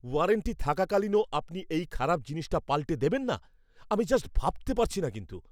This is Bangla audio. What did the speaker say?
ওয়ারান্টি থাকাকালীনও আপনি এই খারাপ জিনিসটা পাল্টে দেবেন না? আমি জাস্ট ভাবতে পারছিনা কিন্তু!